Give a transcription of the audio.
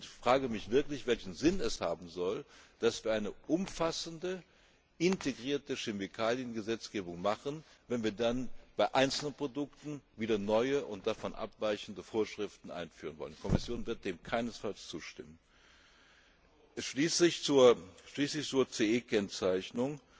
Ich frage mich wirklich, welchen Sinn es habe soll, dass wir eine umfassende, integrierte Chemikaliengesetzgebung machen, wenn wir dann bei Einzelprodukten wieder neu, und davon abweichende Vorschriften einführen wollen. Die Kommission wird dem keinesfalls zustimmen. Schließlich zur CE Kennzeichnung